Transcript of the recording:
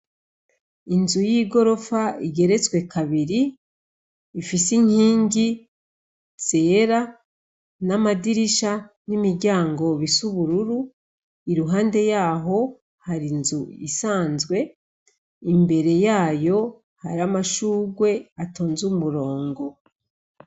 Inzu y'igorofa igeretswe kabiri, ifise inkingi zera, n'amadirisha n'imiryango bisa ubururu, iruhande yaho hari inzu isanzwe, imbere yayo hari amashurwe atonze umurongo.